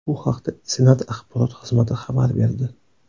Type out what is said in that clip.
Bu haqda Senat axborot xizmati xabar berdi.